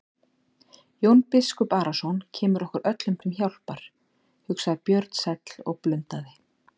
Jón biskup Arason kemur okkur öllum til hjálpar, hugsaði Björn sæll og blundaði.